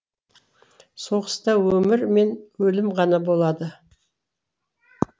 соғыста өмір мен өлім ғана болады